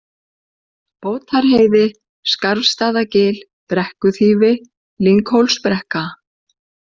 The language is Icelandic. Bótarheiði, Skarfstaðagil, Brekkuþýfi, Lynghólsbrekka